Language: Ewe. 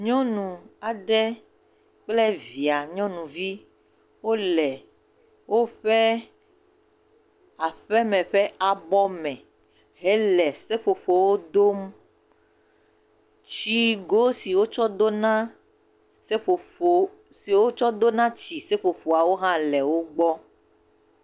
Nyɔnu aɖe kple via nyɔnuvi wole woƒe aƒeme ƒe abɔme he le seƒoƒo wo dom, tsi go si wo tsɔ do na tsi seƒoƒoa wo hã le wo gbɔ.